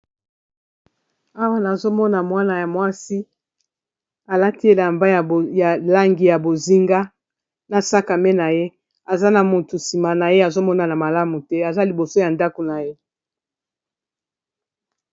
awa nazomona mwana ya mwasi alati elamba ya langi ya bozinga na sakame na ye aza na motu nsima na ye azomonana malamu te aza liboso ya ndako na ye